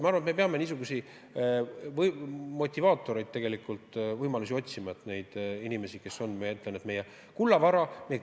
Ma arvan, et me peame niisuguseid motivaatoreid otsima, et hoida inimesi, kes on meie kullavara.